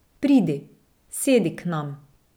Pridi, sedi k nam.